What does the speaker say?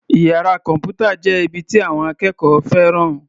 Iyàrá kọ̀m̀pútà jẹ́ ibi tí àwọn akẹ́kọ̀ọ́ fẹ́ràn.